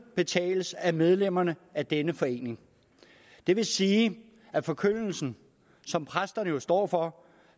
betales af medlemmerne af denne forening det vil sige at forkyndelsen som præsterne jo står for